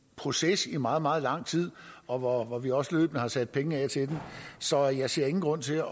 proces i meget meget lang tid og hvor vi også løbende har sat penge af så jeg ser ingen grund til at